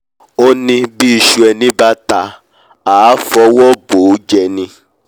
ó ní bí iṣu ẹni bá ta àá fọwọ́ bòójẹ ni